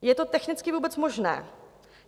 Je to technicky vůbec možné?